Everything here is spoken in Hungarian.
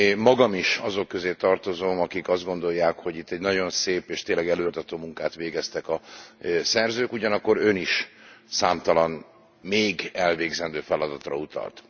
Magam is azok közé tartozom, akik azt gondolják, hogy itt egy nagyon szép és tényleg előremutató munkát végeztek a szerzők. Ugyanakkor Ön is számtalan még elvégzendő feladatra utalt.